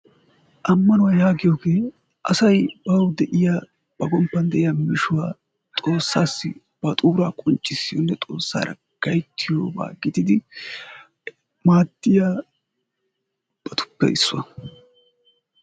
Ammanuwa yaagiyooge asaw baw de'iyo ba gomppa de'iyaa mishshaa xoossara gayttiyooba gididi maadiyababtuppe issuwaa.